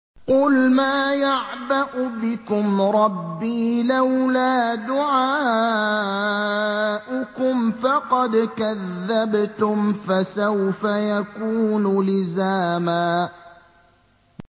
قُلْ مَا يَعْبَأُ بِكُمْ رَبِّي لَوْلَا دُعَاؤُكُمْ ۖ فَقَدْ كَذَّبْتُمْ فَسَوْفَ يَكُونُ لِزَامًا